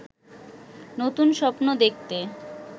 নতুন স্বপ্ন দেখতে